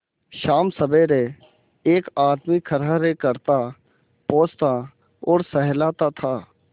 शामसबेरे एक आदमी खरहरे करता पोंछता और सहलाता था